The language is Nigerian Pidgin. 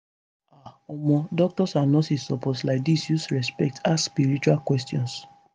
ah omo doctors and nurses suppose laidis use respect ask spiritual questions